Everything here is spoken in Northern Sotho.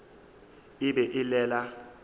e be e le la